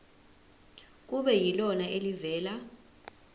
kube yilona elivela